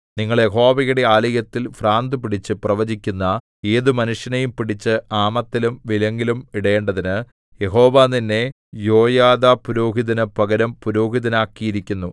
നിങ്ങൾ യഹോവയുടെ ആലയത്തിൽ ഭ്രാന്തുപിടിച്ച് പ്രവചിക്കുന്ന ഏതു മനുഷ്യനെയും പിടിച്ച് ആമത്തിലും വിലങ്ങിലും ഇടേണ്ടതിന് യഹോവ നിന്നെ യോയാദാപുരോഹിതനു പകരം പുരോഹിതനാക്കിയിരിക്കുന്നു